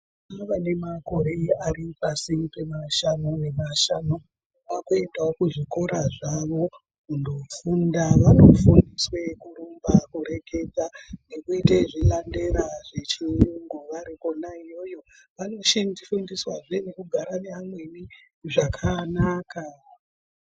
Vana vane makore Ari pasi pemashanu vakuendawo kuzvikora zvavo kundofunda vanofundiswa kurumba nekureketa nekuita zvilandera zvechirumgu varikona iyoyo vanoshandiswawo nekugara nevamweni zvakanaka.